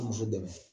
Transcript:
dɛmɛ